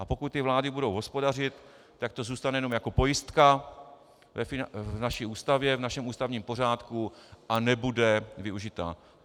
A pokud ty vlády budou hospodařit, tak to zůstane jenom jako pojistka v naší Ústavě, v našem ústavním pořádku, a nebude využita.